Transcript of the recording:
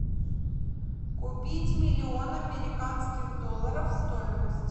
купить миллион американских долларов стоимость